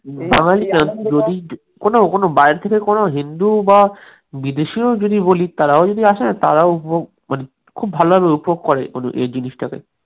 যদি কোনো কোনো বাইরে থেকে কোন হিন্দু বা বিদেশীও যদি বলি তারাও যদি আসেনা তারাও মানে খুব ভালোভাবে উপভোগ করে এই জিনিসটাকে